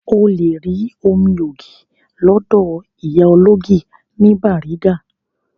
O lè rí omi ògì lọ́dọ̀ ìyá ológì ní Bariga